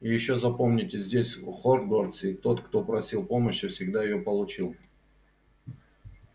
и ещё запомните здесь в хогвартсе тот кто просил помощи всегда её получил